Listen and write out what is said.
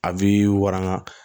A bi waran